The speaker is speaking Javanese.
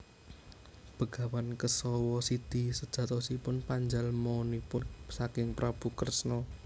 Begawan Kesawasidi sejatosipun panjalmanipun saking Prabu Kresna